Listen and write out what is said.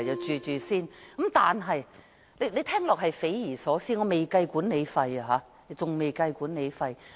這租金水平聽起來很匪夷所思，當中仍未計算管理費。